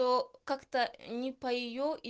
то как-то не по её и